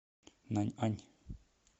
наньань